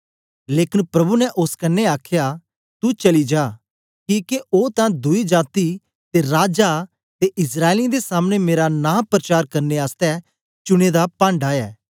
लेकन प्रभु ने ओस कन्ने आखया तू चली जा किके ओ तां दुई जाती ते राजा ते इस्राएलियें दे सामने मेरा नां परचार करने आसतै चुने दा पांढा ऐ